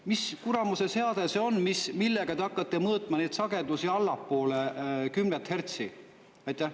Mis kuramuse seade see on, millega te hakkate mõõtma neid sagedusi, mis on allpool kümmet hertsi?